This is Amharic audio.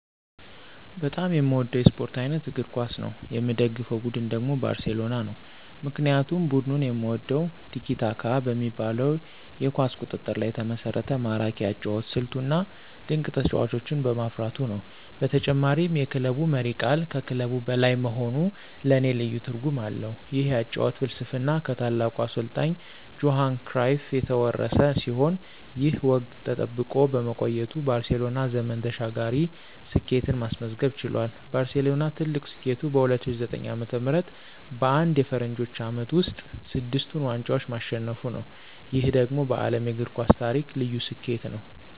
በጣም የምወደው የስፖርት አይነት እግር ኳስ ነው። የምደግፈው ቡድን ደግሞ ባርሴሎና ነው። ምክንያቱም ቡድኑን የምወደው "ቲኪ-ታካ" በሚባለው የኳስ ቁጥጥር ላይ የተመሰረተ ማራኪ የአጨዋወት ስልቱ፣ እና ድንቅ ተጫዋቾችን በማፍራቱ ነው። በተጨማሪም የክለቡ መሪ ቃል ከክለብ በላይ መሆኑ ለኔ ልዩ ትርጉም አለው። ይህ የአጨዋወት ፍልስፍና ከታላቁ አሰልጣኝ ጆሃን ክራይፍ የተወረሰ ሲሆን፣ ይህ ወግ ተጠብቆ በመቆየቱ ባርሴሎና ዘመን ተሻጋሪ ስኬትን ማስመዝገብ ችሏል። ባርሴሎና ትልቁ ስኬቱ በ2009 ዓ.ም. በአንድ የፈረንጆቹ ዓመት ውስጥ ስድስቱን ዋንጫዎች ማሸነፉ ነው። ይህ ደግሞ በዓለም የእግር ኳስ ታሪክ ልዩ ስኬት ነው።